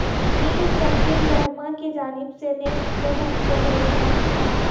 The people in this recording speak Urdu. میرشکیل الرحمان کی جانب سے نیب کو دھمکیاں دینے کا انکشاف